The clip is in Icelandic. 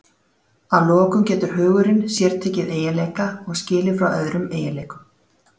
Að lokum getur hugurinn sértekið eiginleika og skilið frá öðrum eiginleikum.